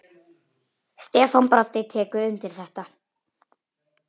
Stefán Broddi tekur undir þetta.